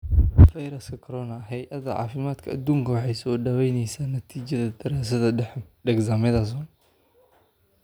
Fayraska Corona: hey adaa cafimadka adunka waxay soo dhawaynaysaa natiijada daraasadda Dexamethasone